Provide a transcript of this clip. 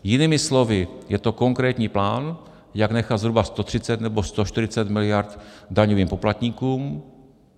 Jinými slovy, je to konkrétní plán, jak nechat zhruba 130 nebo 140 miliard daňovým poplatníkům.